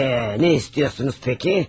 Eee, nə istəyirsiniz bəs?